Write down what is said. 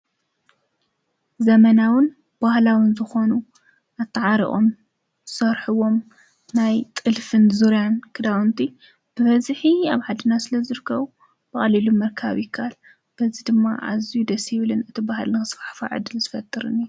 ዘመናውን ባህላውን ዝኮኑ አተዓሪቆም ዝሰርሕዎም ናይ ጥልፊን ዙሩያን ክዳውቲ ብበዝሒ ኣብ ዓድና ስለዝርከቡ ብቀሊሉ ንምርካብ ይከኣል። በዚ ድማ ኣዝዩ ደስ ይብልን እቲ ባህሊ ንምስፍሕፋሕ ዕድል ዝፈጥርን እዩ።